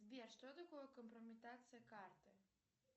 сбер что такое компрометация карты